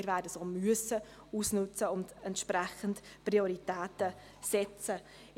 Wir werden sie auch ausnützen und entsprechend Prioritäten setzen müssen.